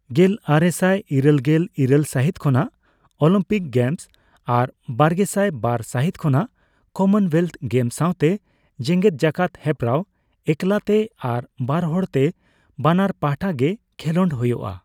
ᱜᱮᱞ ᱟᱨᱮᱥᱟᱭ ᱤᱨᱟᱹᱞᱜᱮᱞ ᱤᱨᱟᱹᱞ ᱥᱟᱹᱦᱤᱛ ᱠᱷᱚᱱᱟᱜ ᱚᱞᱤᱢᱯᱤᱠ ᱜᱮᱢᱚᱥ ᱟᱨ ᱵᱟᱨᱜᱮᱥᱟᱭ ᱵᱟᱨ ᱥᱟᱹᱦᱤᱛ ᱠᱷᱚᱱᱟᱜ ᱠᱚᱢᱚᱱᱳᱭᱮᱞᱛᱷ ᱜᱮᱢ ᱥᱟᱣᱛᱮ ᱡᱮᱜᱮᱫ ᱡᱟᱠᱟᱛ ᱦᱮᱯᱨᱟᱣ ᱮᱠᱞᱟᱛᱮ ᱟᱨ ᱵᱟᱨᱦᱚᱲᱛᱮ ᱵᱟᱱᱟᱨ ᱯᱟᱦᱟᱴᱟ ᱜᱮ ᱠᱷᱮᱞᱚᱰ ᱦᱳᱭᱳᱜᱼᱟ ᱾